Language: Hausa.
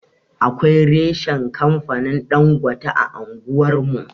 Akwai reshan kamfanin Ɗangote a anguwar mu.